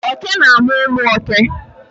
oke na amu umu òké